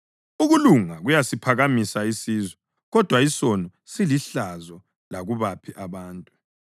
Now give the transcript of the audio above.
Ukulunga kuyasiphakamisa isizwe, kodwa isono silihlazo lakubaphi abantu.